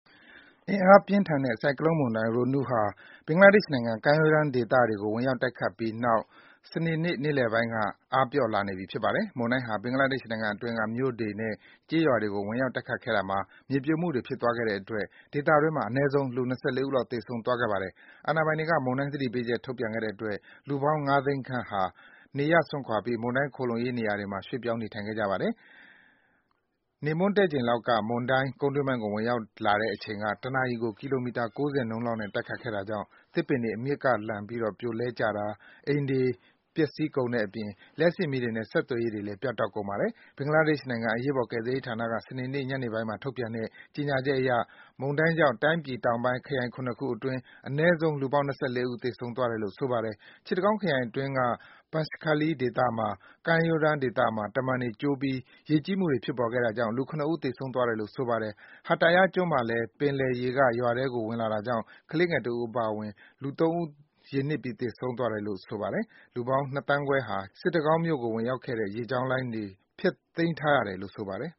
အင်အားပြင်းထန်တဲ့ ဆိုင်ကလုန်းမုန်တိုင်း Roanu ဟာ ဘင်္ဂလားဒေ့ရှ်နိုင်ငံ ကမ်းရိုးတမ်းဒေသတွေကို ဝင်ရောက်တိုက်ခတ်ပြီးနောက် စနေနေ့ နေ့လည်ပိုင်းက အားပျော့လာနေပြီ ဖြစ်ပါတယ်။ မုန်တိုင်းဟာ ဘင်္ဂလားဒေ့ရှ်နိုင်ငံအတွင်းက မြို့တွေနဲ့ ကျေးရွာတွေကို ဝင်ရောက် တိုက်ခတ်ခဲ့တာမှာ မြေပြိုမှုတွေ ဖြစ်သွားခဲ့တဲ့အတွက် ဒေသတွင်းမှာ အနည်းဆုံး လူ ၂၄ ဦးလောက် သေဆုံးသွားခဲ့ပါတယ်။ အာဏာပိုင်တွေက မုန်တိုင်းသတိပေးချက် ထုတ်ပြန်ခဲ့တဲ့အတွက် လူပေါင်း ၅ သိန်းခန့်ဟာ နေရပ်စွန့်ခွာပြီး မုန်တိုင်း ခိုလှုံရေးနေရာတွေမှာ ရွှေ့ပြောင်း နေထိုင်ခဲ့ကြပါ တယ်။ နေမွန်းတည့်ချိန်လောက်က မုန်တိုင်းဟာ ကုန်းတွင်းပိုင်းကို ဝင်ရောက်လာတဲ့အချိန်က ၁ နာရီကို ကီလိုမီတာ ၉၀ နှုန်းနဲ့ တိုက်ခတ်ခဲ့တာကြောင့် သစ်ပင်တွေ အမြစ်ကနေလှန်ပြီး ပြိုလဲကျတာ၊ အိမ်တွေ ပျက်စီးကုန်တဲ့အပြင် လျှပ်စစ်မီးတွေနဲ့ ဆက်သွယ်ရေးတွေလည်း ပြတ်တောက်ကုန်ပါတယ်။ ဘင်္ဂလားဒေ့ရှ်နိုင်ငံ အရေးပေါ် ကယ်ဆယ်ရေးဌာနက စနေနေ့ ညနေပိုင်းမှာ ထုတ်ပြန်တဲ့ ကြေညာချက်အရ မုန်တိုင်းကြောင့် တိုင်းပြည်တောင်ပိုင်း ခရိုင် ၇ ခုအတွင်း အနည်းဆုံး လူပေါင်း ၂၄ ဦး သေဆုံးသွားတယ်လို့ ဆိုပါတယ်။ စစ်တကောင်းခရိုင်အတွင်းက Banskhali ဒေသက ကမ်းရိုးတန်း ဒေသမှာ တမံတွေကျိုးပြီး ရေကြီးမှုတွေ ဖြစ်ပေါ်ခဲ့တာကြောင့် လူ ၇ ဦး သေဆုံးသွားတယ်လို့ ဆိုပါတယ်။ Hataya ကျွန်းမှာလည်း ပင်လယ်ရေက ရွာထဲကို ဝင်လာတာကြောင့် ကလေးငယ်တဦး အပါအဝင် လူ ၃ ဦး ရေနစ်ပြီး သေဆုံးသွားတယ်လို့ ဆိုပါတယ်။ လူပေါင်း ၂ သန်းခွဲလောက် ရှိတဲ့ စစ်တကောင်းမြို့ကို ဝင်ထွက်နေတဲ့ လေကြောင်းလိုင်းတွေလည်း ဖျက်သိမ်းထားရတယ်လို့ ဆိုပါတယ်